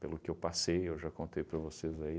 Pelo que eu passei, eu já contei para vocês aí.